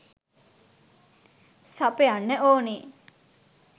සපයන්න ඕනේ.